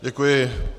Děkuji.